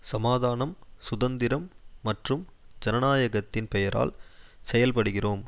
சமாதானம் சுதந்திரம் மற்றும் ஜனநாயகத்தின் பெயரால் செயல்படுகிறோம்